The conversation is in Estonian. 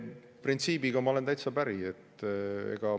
Printsiibiga ma olen täitsa päri.